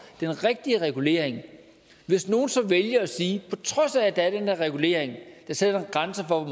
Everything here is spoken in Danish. den rigtige regulering hvis nogen så vælger at sige på trods af at den der regulering der sætter en grænse for